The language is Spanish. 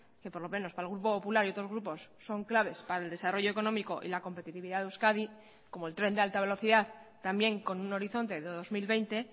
que por lo menos para el grupo popular y otros grupos son claves para el desarrollo económico y la competitividad de euskadi como el tren de alta velocidad también con un horizonte dos mil veinte